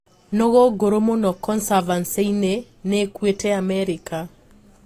Nũgũ ngũrũ mũno consavansi-inĩ nĩĩkuite Amerika